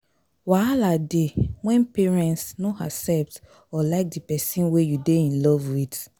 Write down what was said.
wahala de when parents no accept or like di persin wey you de in Love with